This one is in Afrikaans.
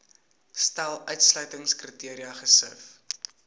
stel uitsluitingskriteria gesif